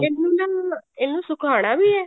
ਇਹਨੂੰ ਨਾ ਇਹਨੂੰ ਸਕਾਉਣਾ ਵੀ ਐ